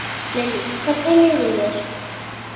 Lillý: Hvernig líður þér?